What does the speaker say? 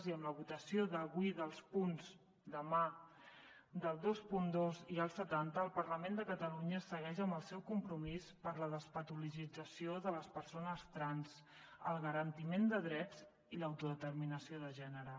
i amb la votació demà dels punts vint dos i setanta el parlament de catalunya segueix amb el seu compromís per la despatologització de les persones trans el garantiment de drets i l’autodeterminació de gènere